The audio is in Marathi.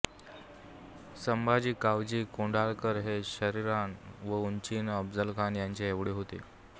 संभाजी कावजी कोंढाळकर हे शरीरान व ऊंचीने अफझलखान यांच्या येवढे होते